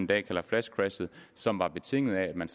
dag kalder flash crash som var betinget af at man